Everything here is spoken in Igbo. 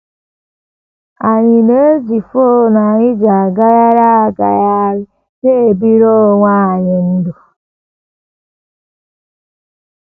Anyị ji fon anyị na - eji agagharị agagharị na - ebiri onwe anyị ndụ. ”